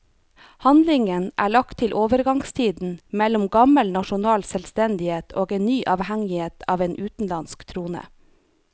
Handlingen er lagt til overgangstiden mellom gammel nasjonal selvstendighet og en ny avhengighet av en utenlandsk trone.